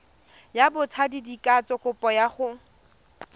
ya botsadikatsho kopo ya go